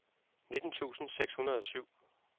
nitten tusind seks hundrede og syv